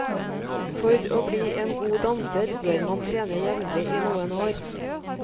For å bli en god danser bør man trene jevnlig i noen år.